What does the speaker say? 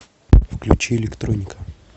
включи электроника